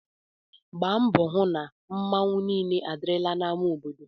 Gbaa mbọ hụ na mmanwu niile adịrịla na ama obodo/